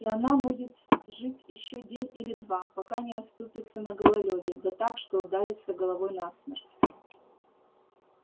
и она будет жить ещё день или два пока не оступится на гололёде да так что ударится головой насмерть